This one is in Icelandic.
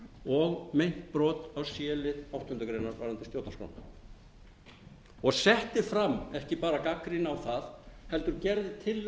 og meint brot á c lið áttundu greinar varðandi stjórnarskrána og setti fram ekki bara gagnrýni á það heldur gerði